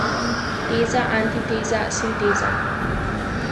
Teza, antiteza, sinteza.